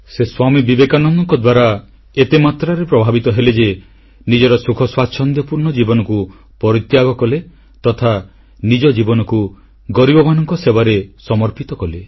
ସେ ସ୍ୱାମୀ ବିବେକାନନ୍ଦଙ୍କ ଦ୍ୱାରା ଏତେ ମାତ୍ରାରେ ପ୍ରଭାବିତ ହେଲେ ଯେ ନିଜର ସୁଖ ସ୍ୱାଚ୍ଛନ୍ଦ୍ୟପୂର୍ଣ୍ଣ ଜୀବନକୁ ପରିତ୍ୟାଗ କଲେ ତଥା ନିଜ ଜୀବନକୁ ଗରିବମାନଙ୍କର ସେବାରେ ସମର୍ପିତ କଲେ